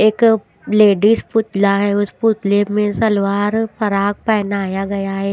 एक लेडीज पुतला है उस पुतले में सलवार फराक पहनाया गया है।